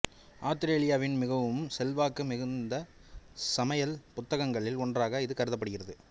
ஆத்திரேலியாவின் மிகவும் செல்வாக்கு மிக்க சமையல் புத்தகங்களில் ஒன்றாக இது கருதப்படுகிறது